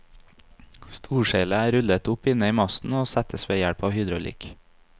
Storseilet er rullet opp inne i masten og settes ved hjelp av hydraulikk.